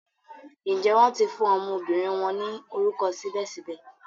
Njé wón ti fún ọmọbìnrin wón ni orúkọ sibẹsibẹ?